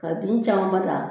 Ka bin camanba ta